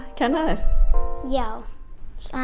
kenna þér já hann